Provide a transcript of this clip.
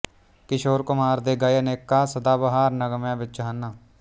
ਕਿਸ਼ੋਰ ਕੁਮਾਰ ਦੇ ਗਾਏ ਅਨੇਕਾਂ ਸਦਾਬਹਾਰ ਨਗ਼ਮਿਆਂ ਵਿੱਚ ਹਨ